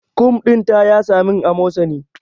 Kum din ta yasa min amosani